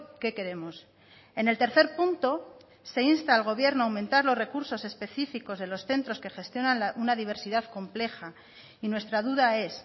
qué queremos en el tercer punto se insta al gobierno a aumentar los recursos específicos de los centros que gestionan una diversidad compleja y nuestra duda es